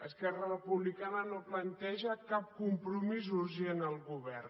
esquerra republicana no planteja cap compromís urgent al govern